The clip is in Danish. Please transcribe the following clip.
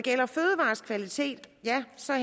så er